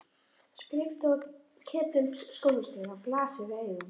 Skrifstofa Ketils skólastjóra blasir við augum.